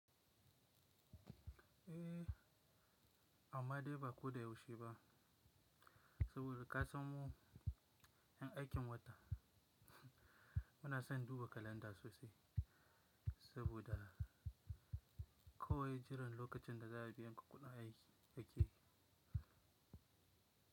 Eh, amma dai ba ko da yaushe ba saboda ka san mu ƴan aikin wata muna son duba kalanda sosai saboda kawai jiran lokacin da za a biya mu kuɗin aiki ake yi.